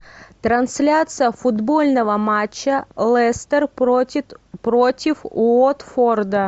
трансляция футбольного матча лестер против уотфорда